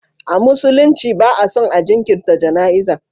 A musulunci ba a son a jinkirta jana'iza.